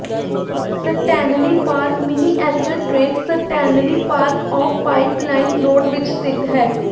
Stanley Park miniature train Stanley Park off Pipeline Road ਵਿਚ ਸਥਿਤ ਹੈ